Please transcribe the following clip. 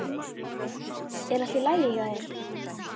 Er allt í lagi hjá þér?